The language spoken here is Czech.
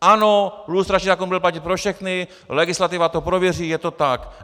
Ano, lustrační zákon bude platit pro všechny, legislativa to prověří, je to tak.